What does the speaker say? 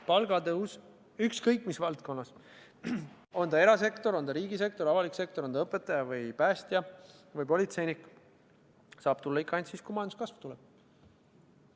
Palgatõus, ükskõik mis valdkonnas – on ta erasektor, riigisektor, avalik sektor, on ta õpetaja, päästja või politseinik –, saab tulla ikka ainult siis, kui majanduskasv tuleb.